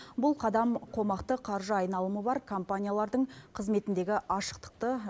бұл қадам қомақты қаржы айналымы бар компаниялардың қызметіндегі ашықтықты